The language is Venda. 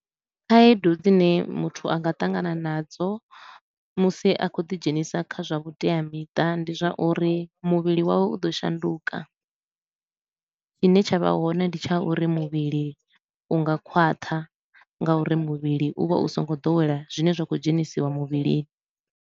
Khaedu dzine muthu a nga tangana nadzo musi a khou ḓi dzhenisa kha zwa vhuteamiṱa, ndi zwa uri muvhili wawe u ḓo shanduka tshine tsha vha hone ndi tsha uri muvhili u nga khwaṱha nga uri muvhili u vha u so ngo ḓowela zwine zwa khou dzhenisiwa muvhili.